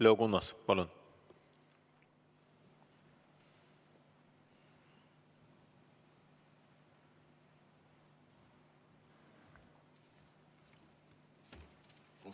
Leo Kunnas, palun!